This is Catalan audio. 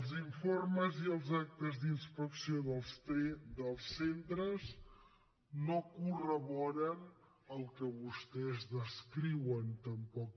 els informes i els actes d’inspecció dels centres no corroboren el que vostès descriuen tampoc